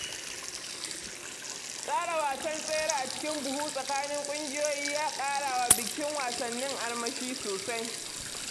Tsara wasan tsere a cikin buhu tsakanin ƙungiyoyi ya ƙara wa bikin wasannin armashi sosai.